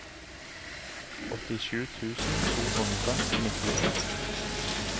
åttisju tusen to hundre og nittito